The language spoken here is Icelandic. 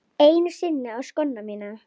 Einu sinni á skóna mína.